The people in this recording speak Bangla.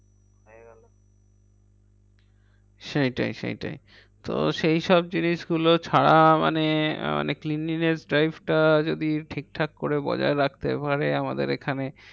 সেইটাই সেইটাই, তো সেইসব জিনিসগুলো ছাড়া মানে মানে cleanliness drive টা যদি ঠিকঠাক করে বজায় রাখতে পারে আমাদের এখানে।